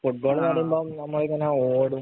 Football‍ എന്ന് പറയുമ്പം നമ്മളിങ്ങനെ ഓടും.